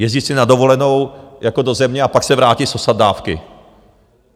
Jezdit si na dovolenou jako do země a pak se vrátit sosat dávky.